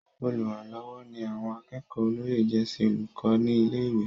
Olùrànlọ́wọ́ ni àwọn akẹ́kọ̀ọ́ olóyè jẹ́ sí olùkọ́ ní ilé-ìwé.